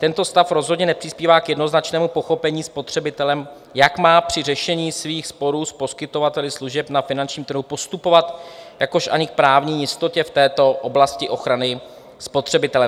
"Tento stav rozhodně nepřispívá k jednoznačnému pochopení spotřebitelem, jak má při řešení svých sporů s poskytovateli služeb na finančním trhu postupovat, jakož ani k právní jistotě v této oblasti ochrany spotřebitele.